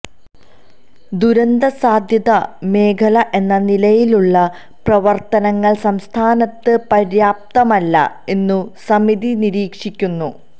ദുരന്ത സാധ്യതാ മേഖല എന്ന നിലയിലുള്ള പ്രവര്ത്തനങ്ങള് സംസ്ഥാനത്ത് പര്യാപ്തമല്ല എന്നും സമിതി നിരീക്ഷിക്കുന്നു